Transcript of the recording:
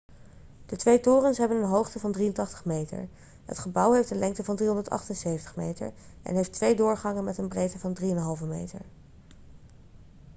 de twee torens hebben een hoogte van 83 meter het gebouw heeft een lengte van 378 meter en heeft twee doorgangen met een breedte van 3,50 meter